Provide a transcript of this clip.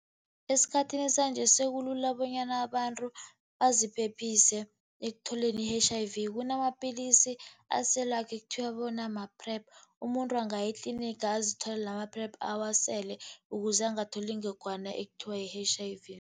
Esikhathini sanje, sekulula bonyana abantu baziphephise ekutholeni i-H_I_V. Kunamapilisi aselwako, ekuthiwa bona ma-PrEP. Umuntu angaya etlinigi azitholele ama-PrEP, awasele ukuze angatholi ingogwana ekuthiwa yi-H_I_V.